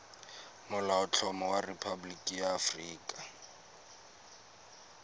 molaotlhomo wa rephaboliki ya aforika